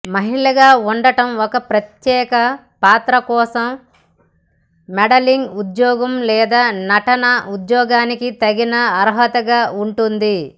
మహిళగా ఉండటం ఒక ప్రత్యేక పాత్ర కోసం మోడలింగ్ ఉద్యోగం లేదా నటన ఉద్యోగానికి తగిన అర్హతగా ఉంటుంది